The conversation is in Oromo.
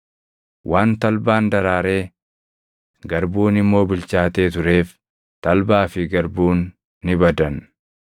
Waan talbaan daraaree, garbuun immoo bilchaatee tureef talbaa fi garbuun ni badan.